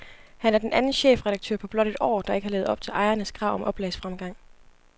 Han er den anden chefredaktør på blot et år, der ikke har levet op til ejernes krav om oplagsfremgang.